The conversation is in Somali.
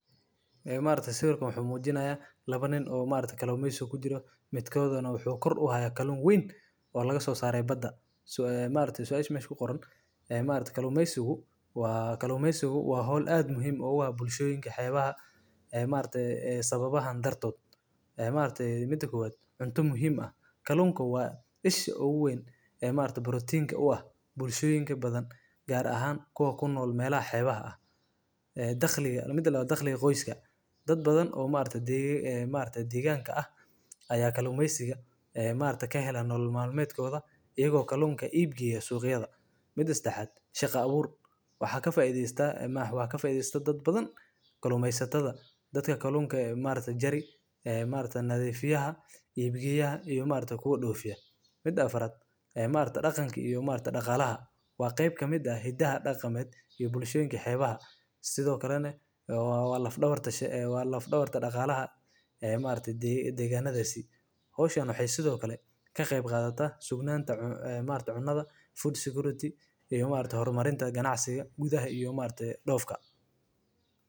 Ee maargta sawirkaan wuxu mujiinaya lawa nin oo maargta kalumeysi midkoodaan wuxu kor uhaaya kalun mid aad uweyn oo laga so sare baada ee maargte sababahan darto een maargte mid kowaad cunta muhim kalunka waa isha ugu weyn ee marka protein ka uaah bulshoyinka badan gaar aahan kuwa kunol xeebaha ee daqliiga qoyska daad badan oo maargta degaanka ah kalumeysika ka helan nolol malmedkooda kaheelan iyaago kalunka iibgeyo suqyaada mid sedaaxad shaqa abuur waxa ka faaiideysta daad badan kalumeysatada ee maargta een maargta nadifiyaha ibiyaha iyo maargta kuwa dofiiyo mida aafarad daqaanka iyo daqaalaha waa qeb kamid ah hidaaha daqamed ee bulshowika sidhoo kalane waa laaf dawarta daqalaha ee degaanasii hawshan waxey sidho kale ka qeb qaadata cuntaada Food security iyo hormarinta ganacsiiga iyo doofka.